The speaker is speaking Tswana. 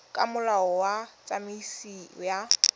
ka molao wa tsamaiso ya